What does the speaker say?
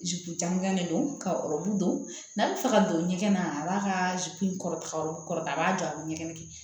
jankan de don ka ɔrɔbu don n'a bɛ fɛ ka don ɲɛgɛn na a b'a ka in kɔrɔta o kɔrɔ a b'a jɔ a bɛ ɲɛgɛn kɛ